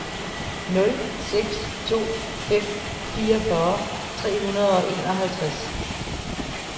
nul seks to fem fireogfyrre tre hundrede og enoghalvtreds